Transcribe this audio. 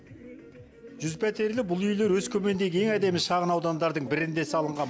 жүз пәтерлі бұл үйлер өскемендегі ең әдемі шағын аудандардың бірінде салынған